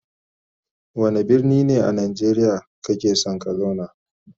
Wanda birni ne a nageriya kake son ka zauna?